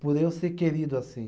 Por eu ser querido assim.